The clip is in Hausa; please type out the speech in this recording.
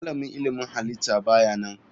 Malamin ilmin halitta ba ya nan.